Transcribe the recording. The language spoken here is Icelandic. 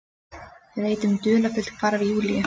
Veit um dularfullt hvarf Júlíu.